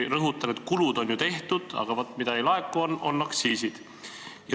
Rõhutan, et kulud on ju tehtud, aga mida ei laeku, on aktsiisid.